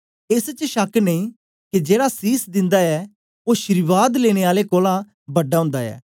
एस च शक नेई के जेड़ा सीस दिन्दा ऐ ओ अशीर्वाद लेनें आले कोलां बड़ा ओंदा ऐ